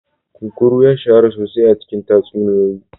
Kunkuru ya shahara sosai a cikin tatsuniyoyi.